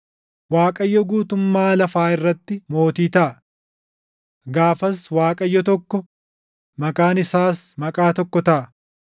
Waaqayyo guutummaa lafaa irratti mootii taʼa. Gaafas Waaqayyo tokko, maqaan isaas maqaa tokko taʼa.